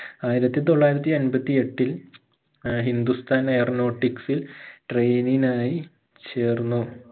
ആയിരത്തി തൊള്ളായിരത്തി അൻപത്തിയെട്ടിൽ ആഹ് hindusthan aeronautics ഇൽ training നായി ചേർന്നു